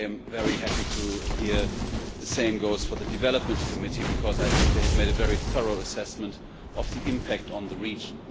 I am very happy to hear that the same goes for the Development Committee because I think they have made a very thorough assessment of the impact on the region.